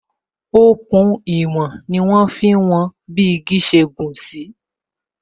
Òkun ìwòn n kan ni wọn fi ń wọn bi igi ṣe gùn sí